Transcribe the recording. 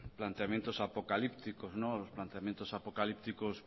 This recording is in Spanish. planteamientos apocalípticos los planteamientos apocalípticos